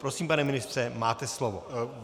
Prosím, pane ministře, máte slovo.